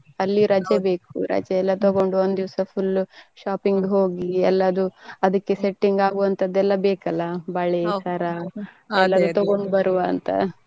ಅಲ್ಲಿ ರಜೆ ಬೇಕು ರಜೆ ಎಲ್ಲ ತಗೊಂಡು ಒಂದು ದಿವಸ full shopping ಹೋಗಿ ಎಲ್ಲದು ಅದಕ್ಕೆ setting ಆಗು ವಂತದ್ದು ಎಲ್ಲ ಬೇಕಲ್ಲಾ ಬಳೆ, ಸರ ಎಲ್ಲ ತಗೊಂಡ್ ಬರುವ ಅಂತ.